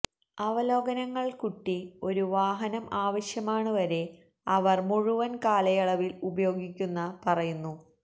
അവലോകനങ്ങൾ കുട്ടി ഒരു വാഹനം ആവശ്യമാണ് വരെ അവർ മുഴുവൻ കാലയളവിൽ ഉപയോഗിക്കുന്ന പറയുന്നു